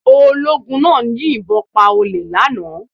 Ológun náà yìn bon pa olè náà lánàá